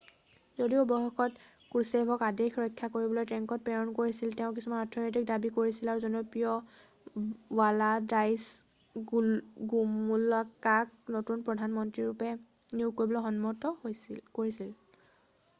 যদিও অৱশেষত ক্ৰুছেভক আদেশ ৰক্ষা কৰিবলৈ টেঙ্কত প্ৰেৰণ কৰিছিল তেওঁ কিছুমান অৰ্থনৈতিক দাবী কৰিছিল আৰু জনপ্ৰিয় ৱালাডাইশ্ল গোমুলকাক নতুন প্ৰধান মন্ত্ৰী ৰূপে নিয়োগ কৰিবলৈ সন্মত কৰিছিল